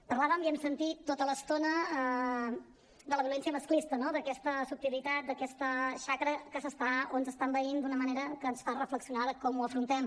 parlàvem i ho hem sentit tota l’estona de la violència masclista d’aquesta subtilitat d’aquesta xacra que ens està envaint d’una manera que ens fa reflexionar de com ho afrontem